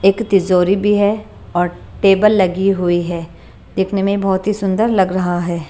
एक तिजोरी भी है और टेबल लगी हुई है देखने में बहुत ही सुंदर लग रहा है।